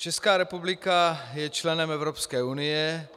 Česká republika je členem Evropské unie